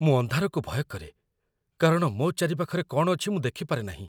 ମୁଁ ଅନ୍ଧାରକୁ ଭୟ କରେ କାରଣ ମୋ ଚାରିପାଖରେ କ'ଣ ଅଛି ମୁଁ ଦେଖିପାରେନାହିଁ।